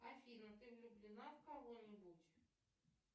афина ты влюблена в кого нибудь